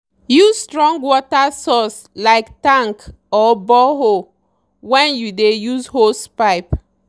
use strong water source like tank or borehole when you dey use hosepipe.